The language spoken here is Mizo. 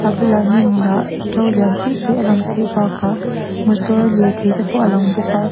bulah hnim hnah to lian pui pui a lang theih bakah motor lirthei te pawh a lang bawk a.